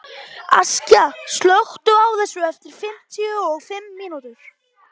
Askja, slökktu á þessu eftir fimmtíu og fimm mínútur.